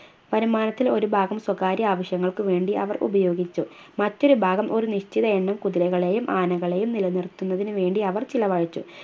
വരുമാനത്തിൽ ഒരു ഭാഗം സ്വകാര്യ ആവശ്യങ്ങൾക്ക് വേണ്ടി അവർ ഉപയോഗിച്ചു മറ്റൊരു ഭാഗം ഒര് നിശ്ചിതയെണ്ണം കുതിരകളെയും ആനകളെയും നിലനിർത്തുന്നതിന് വേണ്ടി അവർ ചിലവഴിച്ചു